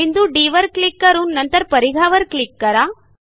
बिंदू डी वर क्लिक करून नंतर परिघावर क्लिक करा